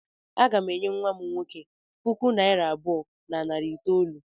Aga m enye nwa m nwoke puku naịra abụọ na narị itoolu.